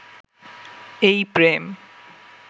এই প্রেম